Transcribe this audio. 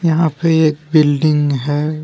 यहां पे एक बिल्डिंग है।